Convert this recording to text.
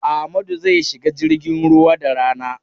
Amadu zai shiga jirgin ruwa da rana.